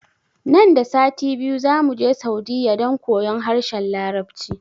Nan da sati biyu zamuje saudiyya don koyon harshen larabci